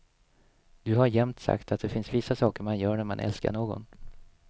Du har jämt sagt att det finns vissa saker man gör när man älskar någon.